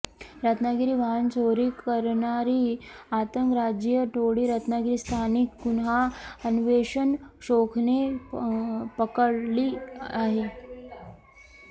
रत्नागिरी वाहनचोरी कंरणारी आंतरराज्यीय टोळी रत्नागिरी स्थानिकं गुन्हा अन्वेषण शाखेने पकंडली आहे